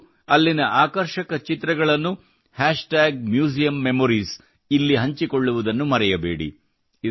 ನೀವು ಅಲ್ಲಿನ ಆಕರ್ಷಕ ಚಿತ್ರಗಳನ್ನು ಹ್ಯಾಷ್ಟಾಗ್ ಮ್ಯೂಸಿಯಮ್ ಮೆಮೊರೀಸ್ ನಲ್ಲಿ ಹಂಚಿಕೊಳ್ಳುವುದನ್ನು ಮರೆಯಬೇಡಿ